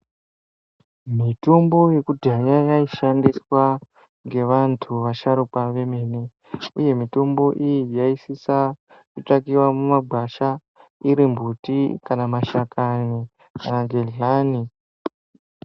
Mitombo yekudhaya yaishandiswa ngevanthu vasharukwa kwemene ye mitombo iyi yaisisa kutsvakiwa mumagwasha iri mbuti kana mashakani kana gedhlani.